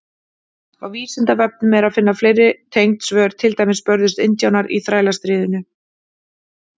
Á Vísindavefnum er að finna fleiri tengd svör, til dæmis: Börðust indjánar í Þrælastríðinu?